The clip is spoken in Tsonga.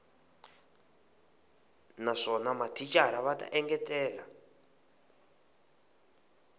naswona mathicara va ta engetela